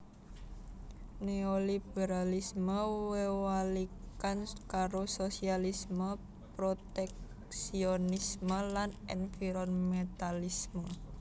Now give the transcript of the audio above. Néoliberalisme wewalikan karo sosialisme proteksionisme lan environmentalisme